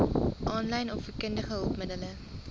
aanlyn opvoedkundige hulpmiddele